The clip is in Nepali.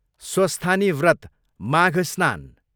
स्वस्थानी व्रत, माघ स्नान